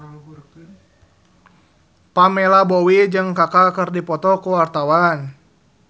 Pamela Bowie jeung Kaka keur dipoto ku wartawan